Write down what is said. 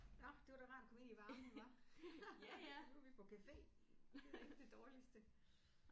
Nåh det var da rart at komme ind i varmen hva? Nu er vi på café det er da ikke det dårligste